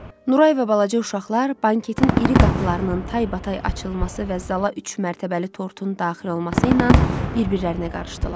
Nuray və balaca uşaqlar banketin iri qapılarının taybatay açılması və zala üçmərtəbəli tortun daxil olması ilə bir-birlərinə qarışdılar.